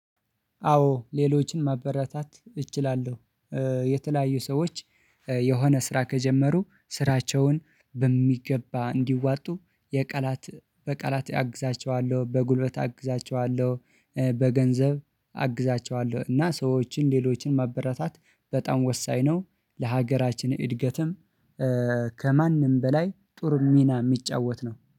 አዎ ሌሎችን ማበረታት እችላለሁ። የተለያዩ ሰዎች የሆነ ስራ ከጀመሩ ስራቸውን በሚገባ እንዲዋጡ የቃላት በቃላት አግዛቸዋለሁ በጉልበት አግዛቸዋለሁ በገንዘብ አግዛቸዋለሁ። እና ሰዎችን ሌሎችን ማበረታታት በጣም ወሳኝ ነው። ለሀገራችን እድገትም። ከማንም በላይ ጥሩ ሚና የሚጫወት ነው